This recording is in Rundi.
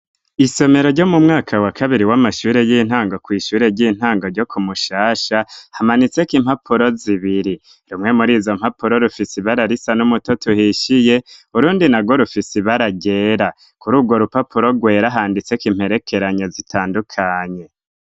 Isomero ryo mu mwaka wa kabiri w'amashure y'intango kw'ishure ry'intango ryo ku Mushasha hamanitseko impapuro zibiri rumwe muri izo mpapuro rufise ibara risa n'umutoto uhishiye urundi narwo rufise ibara ryera, kuri urwo rupapuro rwera handitseko imperekeranyo zitandukanye.